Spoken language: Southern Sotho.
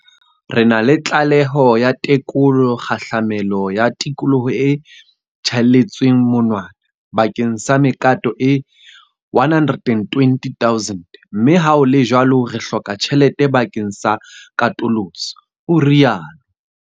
Re na le tlaleho ya tekolo kgahlamelo ya tikoloho e tjhaelletsweng monwana bakeng sa mekato e 120 000 mme ha ho le jwalo re hloka tjhelete bakeng sa katoloso, o rialo.